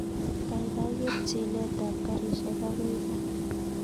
Kaikai ker chilet ab garishek akoi kaa